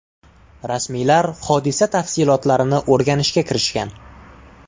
Rasmiylar hodisa tafsilotlarini o‘rganishga kirishgan.